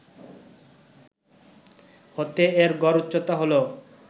হতে এর গড় উচ্চতা হল